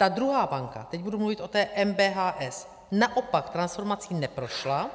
Ta druhá banka - teď budu mluvit o té MBHS - naopak, transformací neprošla